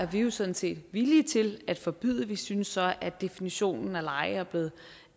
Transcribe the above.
vi er jo sådan set villige til at forbyde lejre vi synes så at definitionen af lejre er blevet